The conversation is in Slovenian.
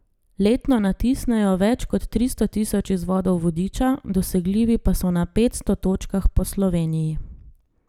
Letno natisnejo več kot tristo tisoč izvodov vodiča, dosegljivi pa so na petsto točkah po Sloveniji.